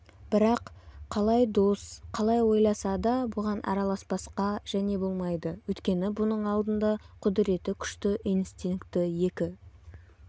бірақ қалай дос қалай ойласа да бұған араласпасқа және болмайды өйткені бұның алдында құдіреті күшті инстинкті екі